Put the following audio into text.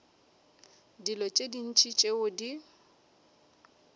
dilo tše ntši tšeo di